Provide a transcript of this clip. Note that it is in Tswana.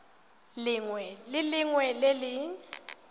lengwe le lengwe le le